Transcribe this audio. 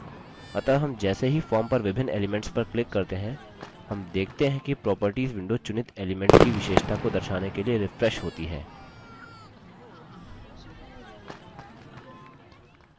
अतः हम जैसे ही हम form पर विभिन्न elements पर click करते हैं हम देखते हैं कि properties window चुनित element की विशेषता को दर्शाने के लिए refreshes होती है